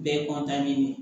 Bɛɛ de